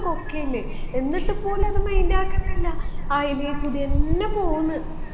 കൊക്കയില്ലെ എന്നിട്ട് പോലും അത് mind ആക്കുന്നില്ല അയിലേകൂടിയെന്നെ പോവുന്ന്